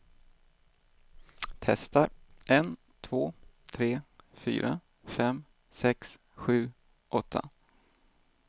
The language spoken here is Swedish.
Testar en två tre fyra fem sex sju åtta.